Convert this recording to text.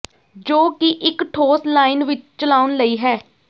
ਜੋ ਕਿ ਇੱਕ ਠੋਸ ਲਾਈਨ ਵਿੱਚ ਚਲਾਉਣ ਲਈ ਹੈ